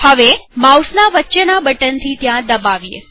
હવે માઉસના વચ્ચેના બટનથી ત્યાં દબાવીએ